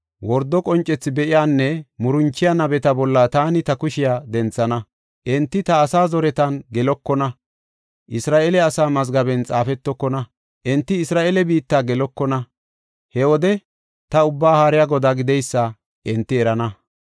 Wordo qoncethi be7iyanne muranchiya nabeta bolla taani ta kushiya denthana. Enti ta asaa zoretan gelokona; Isra7eele asaa mazgaben xaafetokona; enti Isra7eele biitta gelokona. He wode ta Ubbaa Haariya Godaa gideysa hinte erana.